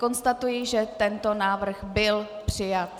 Konstatuji, že tento návrh byl přijat.